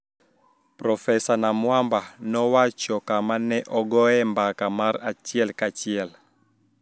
Profesa Namwamba nowacho kama ne ogoye mbaka mar achiel kachiel